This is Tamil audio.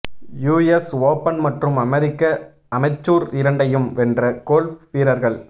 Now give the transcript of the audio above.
யுஎஸ் ஓபன் மற்றும் அமெரிக்க அமெச்சூர் இரண்டையும் வென்ற கோல்ப் வீரர்கள்